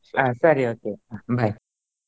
ಆ ಸರಿ okay bye .